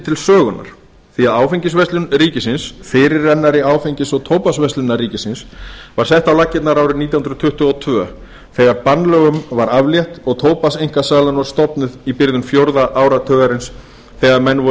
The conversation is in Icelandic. til sögunnar því að áfengisverslun ríkisins fyrirrennari áfengis og tóbaksverslunar ríkisins var sett á laggirnar árið nítján hundruð tuttugu og tvö þegar bannlögunum var aflétt og tóbakseinkasalan var stofnuð í byrjun fjórða áratugarins þegar menn voru